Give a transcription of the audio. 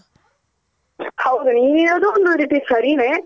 ಹೌದು ನೀನ್ ಹೇಳೋದು ಒಂದ್ ರೀತಿ ಸರಿನೆ